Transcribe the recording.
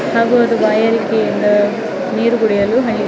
ಹಾಗು ಅದು ವೋಯಲ್ಟಿಯಿಂದ ನೀರ್ ಕುಡಿಯಲು ಹನಿ .